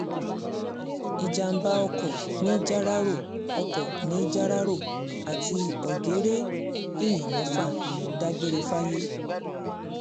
ìjàḿbá ọkọ̀ nìjáráró ọkọ̀ nìjáráró àti ọ̀gẹ́rẹ́ èèyàn mẹ́fà dágbére fáyé